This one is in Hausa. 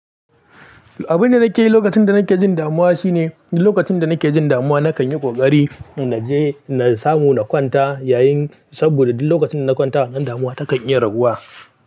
Abin da nake yi lokacin da nake jin damuwa shine, duk lokacin da nake jin damuwa nakan yi ƙoƙari na je na samu na kwanta yayin saboda duk lokacin da na kwanta nan damuwa takan iya raguwa.